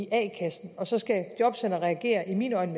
a kassen og så skal jobcentret reagere i mine øjne